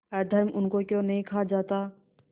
अधर्म उनको क्यों नहीं खा जाता